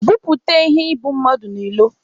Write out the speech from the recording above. Bupute iheibummadụ n'ilo!